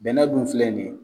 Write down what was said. Bɛnɛ dun filɛ nin ye